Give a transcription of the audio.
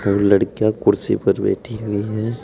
और लड़कियां कुर्सी पर बैठी हुई है।